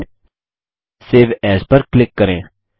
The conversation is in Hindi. फाइलगटीजीटी सेव एएस पर क्लिक करें